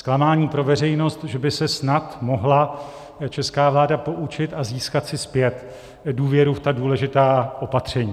Zklamání pro veřejnost, že by se snad mohla česká vláda poučit a získat si zpět důvěru v tak důležitá opatření.